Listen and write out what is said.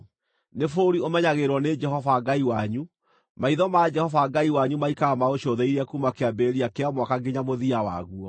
Nĩ bũrũri ũmenyagĩrĩrwo nĩ Jehova Ngai wanyu; maitho ma Jehova Ngai wanyu maikaraga maũcũthĩrĩirie kuuma kĩambĩrĩria kĩa mwaka nginya mũthia waguo.